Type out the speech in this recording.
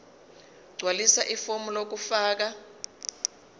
gqwalisa ifomu lokufaka